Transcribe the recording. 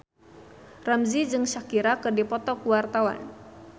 Ramzy jeung Shakira keur dipoto ku wartawan